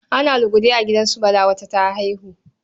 Ana lugude a gidan su Bala, wata ta haihu.